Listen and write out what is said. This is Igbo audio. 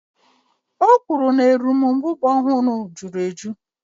O kwuru na erombubara ọ hụrụ jụrụ ejụ́